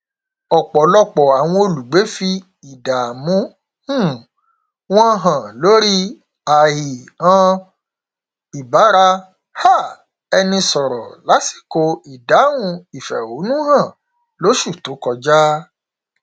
ọpọlọpọ àwọn olùgbé fi ìdààmú um wọn hàn lórí àìhàn ìbára um ẹni sọrọ lásìkò ìdáhùn ìfẹhónúhàn lóṣù tó kọjá